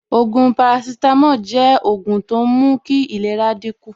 Ògùn paracetamol jẹ́ ògùn tó ń mú kí ìlera dín kù